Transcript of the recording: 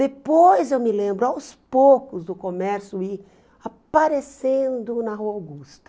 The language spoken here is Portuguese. Depois eu me lembro, aos poucos, do comércio ir aparecendo na Rua Augusta.